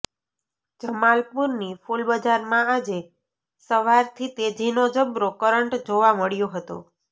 જમાલપુરની ફૂલબજારમાં આજે સવારથી તેજીનો જબરો કરંટ જોવા મળ્યો હતો